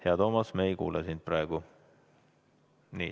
Hea Toomas, me ei kuule sind praegu.